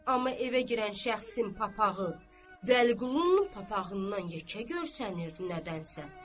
Amma evə girən şəxsin papağı, Vəliqulunun papağından yekə görsənirdi nədənsə.